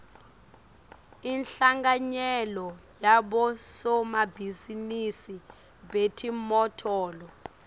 inhlanganyela yabosomabhizinisi betimotolo